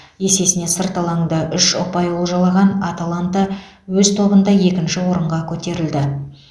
есесіне сырт алаңда үш ұпай олжалаған аталанта өз тобында екінші орынға көтерілді